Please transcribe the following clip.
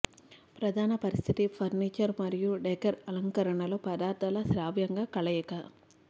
ప్రధాన పరిస్థితి ఫర్నిచర్ మరియు డెకర్ అలంకరణలో పదార్థాల శ్రావ్యంగా కలయిక